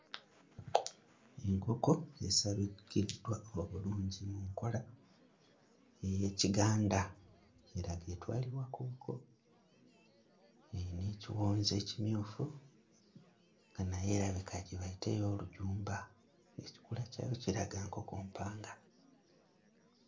Enkoko esabikiddwa obulungi mu nkola ey'ekiganda eraga etwalibwa ku buko, eyina ekiwonzi ekimyufu nga naye erabika gye bayita ey'olujumba ekikula kyayo kiraga nkoko mpanga.